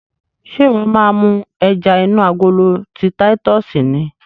Ṣe iwọ máa mú ẹja inú agolo ti titus ni?